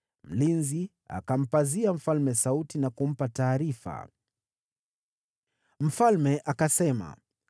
Mlinzi akampazia mfalme sauti na kumpa taarifa. Mfalme akasema, “Ikiwa yuko peke yake, lazima atakuwa na habari njema.” Naye yule mtu akazidi kusogea karibu.